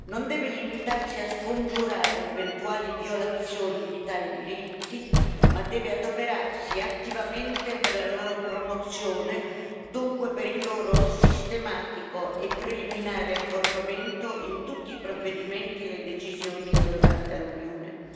non deve limitarsi a scongiurare eventuali violazioni di tali diritti, ma deve adoperarsi attivamente per la loro promozione, dunque per il loro sistematico e preliminare accorpamento in tutti i provvedimenti e le decisioni adottati dall'Unione.